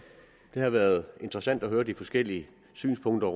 det har været interessant at høre de forskellige synspunkter